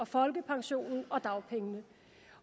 folkepensionen og dagpengene